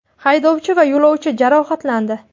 Haydovchi va yo‘lovchi jarohatlandi .